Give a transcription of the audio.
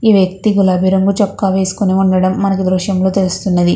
ఈ వ్యక్తి గులాబీ రంగు చొక్కా వేసుకొని ఉండడం మనకు ఈ దృశ్యంలో తెలుస్తున్నది.